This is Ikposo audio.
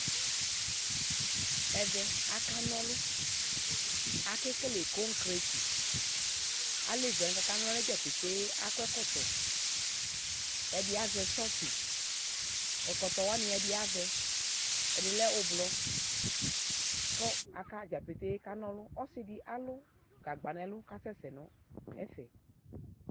ɛvɛ akanaɔlʋ akekele cɔnkrati ʋvidi akɔ ɛkɔtɔwani ɛdi avɛ ɛdi lɛ ʋblɔʋ kʋ aka taja petee kana ɔlʋ ɔsidi alʋ gagba nɛlʋ kasɛ sɛɛ nɛƒɛɛ